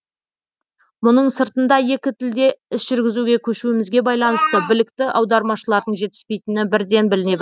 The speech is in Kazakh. мұның сыртында екі тілде іс жүргізуге көшуімізге байланысты білікті аудармашылардың жетіспейтіні бірден біліне